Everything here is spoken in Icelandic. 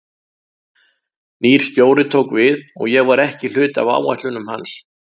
Nýr stjóri tók við og ég var ekki hluti af áætlunum hans.